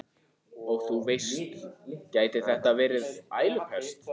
Og þú veist, gæti þetta verið ælupest?